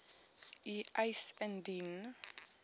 u eis indien